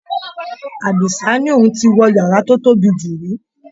Àdìsá ní òun ò tíì wọ yàrá tó tóbi jù rí.